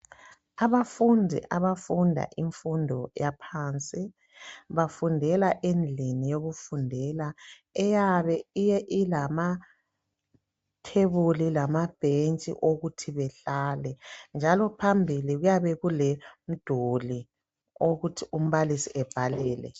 Abafundi abafunda imfundo yaphansi bafundela endlini yokufundela eyabe ilamathebuli lamabhentshi okuthi behlale njalo phambili kuyabe kulomduli wokuthi umbalisi ebhalele.